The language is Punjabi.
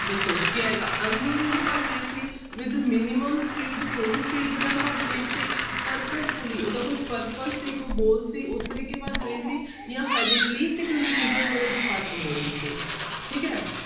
ਦੱਸੋ ਕੀ ਆਏਗਾ unknowingly ਭੱਜ ਰਹੀ ਸੀ with minimum speed ਥੋੜ੍ਹੀ speed ਦੇ ਨਾਲ ਭੱਜ ਰਹੀ ਸੀ purposefully ਉਹਦਾ ਕੋਈ purpose ਸੀ ਕੋਈ goal ਸੀ ਉਸ ਤਰੀਕੇ ਭੱਜ ਰਹੀ ਸੀ ਜਾਂ hurriedly ਤੇ confusion ਦੇ ਵਿੱਚ ਭੱਜ ਰਹੀ ਸੀ ਠੀਕ ਹੈ।